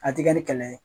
A ti kɛ ni kɛlɛ ye